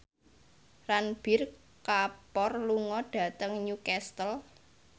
Ranbir Kapoor lunga dhateng Newcastle